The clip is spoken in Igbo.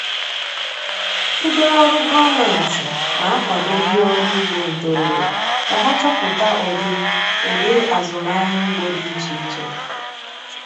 Ndị ọrụ gọọmenti na-akwado ndị ọrụ ugbo ntorobịa ka ha chọpụta ụdị ụdị azụmahịa ugbo dị iche iche.